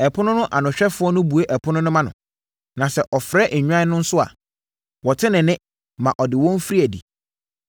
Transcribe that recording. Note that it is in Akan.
Ɛpono no anohwɛfoɔ no bue ɛpono no ma no, na sɛ ɔfrɛ nnwan no nso a, wɔte ne nne ma ɔde wɔn firi adi.